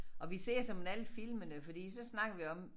Og vi ser såmænd alle filmene fordi så snakker vi om